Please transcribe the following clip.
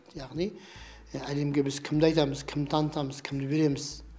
яғни әлемге біз кімді айтамыз кімді танытамыз кімді береміз